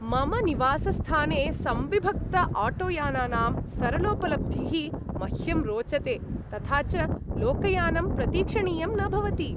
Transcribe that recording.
मम निवासस्थाने संविभक्तआटोयानानां सरलोपलब्धिः मह्यं रोचते, तथा च लोकयानं प्रतीक्षणीयं न भवति।